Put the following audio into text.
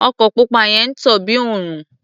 Ọkọ̀ pupa yẹn ń tàn bí òrùn.